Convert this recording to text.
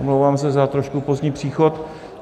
Omlouvám se za trošku pozdní příchod.